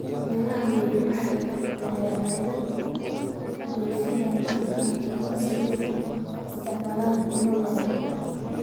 Beeraha waaweyni waxay badeecadaha u dhoofiyaan dalalka adduunka si ay u isticmaalaan tiro badan.